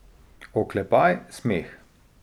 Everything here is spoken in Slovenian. Oklepaj, smeh.